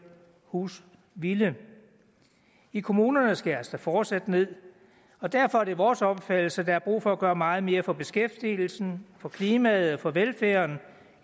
husvilde i kommunerne skæres der fortsat ned og derfor er det vores opfattelse at der er brug for at gøre meget mere for beskæftigelsen for klimaet og for velfærden